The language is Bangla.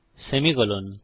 সেমিকোলন